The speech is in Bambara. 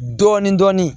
Dɔɔnin dɔɔnin